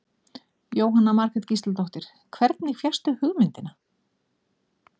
Jóhanna Margrét Gísladóttir: Hvernig fékkstu hugmyndina?